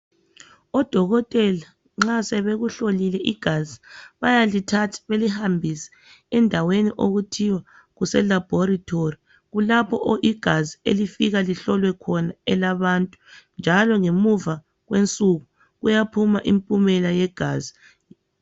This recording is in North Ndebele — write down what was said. Odokotela nxa sebekuhlolile igazi bayalithatha, belihambise endaweni okuthiwa kuselabhorethori. Kulapho igazi labantu elifika lihlolwe khona, njalo ngemva kwensuku, kuyaphuma imphumela yegazi.